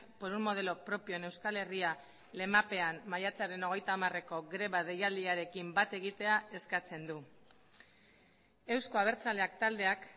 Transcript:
por un modelo propio en euskal herria lemapean maiatzaren hogeita hamareko greba deialdiarekin bat egitea eskatzen du euzko abertzaleak taldeak